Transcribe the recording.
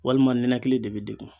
Walima ninakili de bi degun